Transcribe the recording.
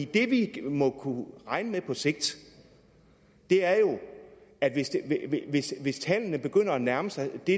det vi må kunne regne med på sigt er jo at hvis tallene begynder at nærme sig det